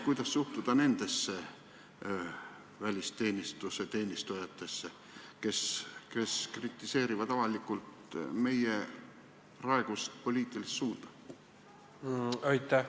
Kuidas suhtuda nendesse välisteenistuse teenistujatesse, kes kritiseerivad avalikult meie praegust poliitilist suunda?